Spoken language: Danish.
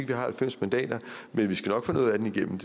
vi har halvfems mandater men vi skal nok få noget af den igennem